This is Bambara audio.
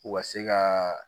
U ka se ka